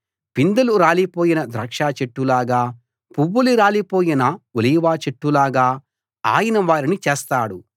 పిందెలు రాలిపోయిన ద్రాక్షచెట్టులాగా పువ్వులు రాలిపోయిన ఒలీవచెట్టులాగా ఆయన వారిని చేస్తాడు